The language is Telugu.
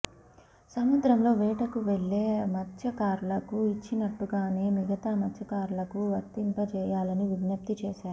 సముద్రంలో వేటకు వెళ్లే మత్స్యకారులకు ఇచ్చినట్టుగానే మిగతా మత్స్యకారులకు వర్తింపజేయాలని విజ్ఞప్తి చేశారు